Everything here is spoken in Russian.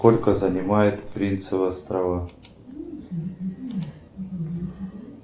сколько занимают принцевы острова